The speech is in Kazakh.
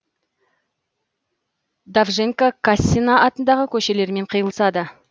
довженко кассина атындағы көшелермен қиылысады